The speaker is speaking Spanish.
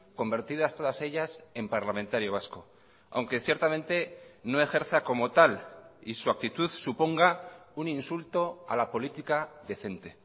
convertidas todas ellas en parlamentario vasco aunque ciertamente no ejerza como tal y su actitud suponga un insulto a la política decente